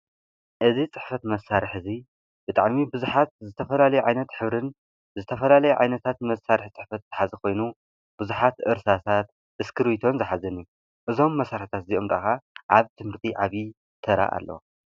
እዚ ፅሕፈት መሳርሒ እዚ ብጣዕሚ ብዙሓት ዝተፈላለዩ ዓይነት ሕብርን ዝተፈላለየ ዓይነታት መሳርሒ ፅሕፈት ዝሓዘ ኮይኑ ብዙሓት እርሳሳት እስክርቢቶን ዝሓዘን እዩ። እዞም መሳርሕታት እዚኦም ከዓ ኣብ ትምህርቲ ዓብዪ ተራ ኣለዎም።